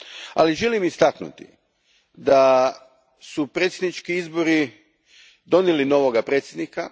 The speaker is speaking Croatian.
Ali, želim istaknuti da su predsjednički izbori donijeli novoga predsjednika.